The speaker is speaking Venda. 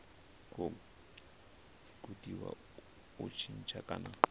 khou gudiwa u tshintsha kana